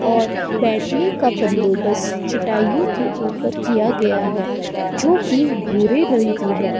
और बैठने का बंदोबस्त चटाइयो के ऊपर किया गया है जो की भूरे रंग की है।